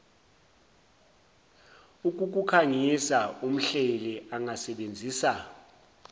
ukukukhangisa umhleli angasebenzisa